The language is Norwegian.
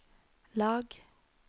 lag